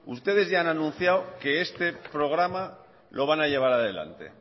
ustedes ya han anunciado que este programa lo van a llevar a adelante